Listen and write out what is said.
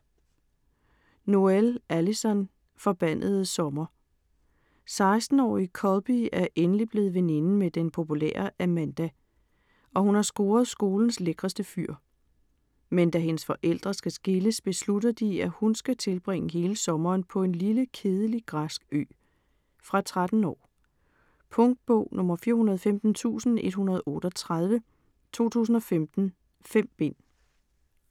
Noël, Alyson: Forbandede sommer 16-årige Colby er endelig blevet veninde med den populære Amanda, og hun har scoret skolens lækreste fyr. Men da hendes forældre skal skilles, beslutter de, at hun skal tilbringe hele sommeren på en lille, kedelig græsk ø. Fra 13 år. Punktbog 415138 2015. 5 bind.